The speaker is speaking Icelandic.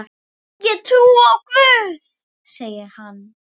Ég trúi á Guð, segir hann.